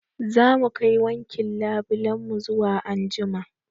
Zamu kai wankin labulen mu zuwa anjima